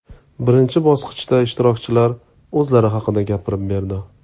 Birinchi bosqichda ishtirokchilar o‘zlari haqida gapirib berdi.